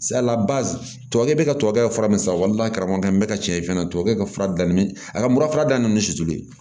tubabukɛ bɛ ka tubabu kɛ fura min san walima karamɔgɔkɛ n bɛ ka cɛn fɛnɛ tubabu ka fura dilan ni a ka mura danni ninnu suturu ye